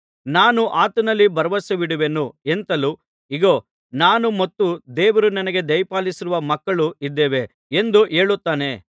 ನಾನು ಆತನಲ್ಲಿ ಭರವಸವಿಡುವೆನು ಎಂತಲೂ ಇಗೋ ನಾನು ಮತ್ತು ದೇವರು ನನಗೆ ದಯಪಾಲಿಸಿರುವ ಮಕ್ಕಳೂ ಇದ್ದೇವೆ ಎಂದೂ ಹೇಳುತ್ತಾನೆ